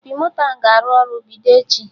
Opi moto ahụ a ga-arụ ọrụ bido echi?